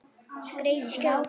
Skreið í skjól.